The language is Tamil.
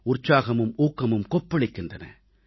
உற்சாகமும் ஊக்கமும் கொப்பளிக்கின்றன